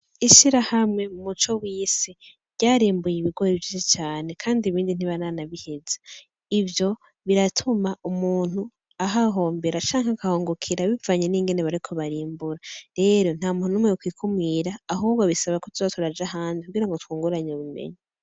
Ishirahamwe MUCOWISI ryarimbuye ibigori vyinshi cane kandi ibindi ntibaranabiheza, ivyo biratuma umuntu ahahombere canke akahungukira bivanye n'ingene bariko barimbura, rero nta muntu numwe yo kwikumira, ahubwo bisaba ko tuza turaja ahandi kugira ngo twunguranye ubumenyi.